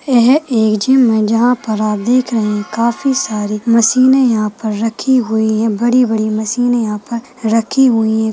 यह एक जिम है जहां पर आप देख रहे है काफी सारे मशीने यहाँ पर रखी हुई है बड़ी बड़ी मशीने यहाँ पर रखी हुई है।